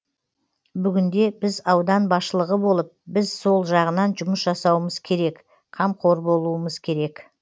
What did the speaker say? бүгінде біз аудан басшылығы болып біз сол жағынан жұмыс жасауымыз керек қамқор болуымыз керек